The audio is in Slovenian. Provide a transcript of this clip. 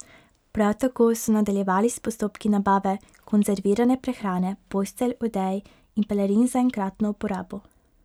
Prav tako so nadaljevali s postopki nabave konzervirane prehrane, postelj, odej in pelerin za enkratno uporabo.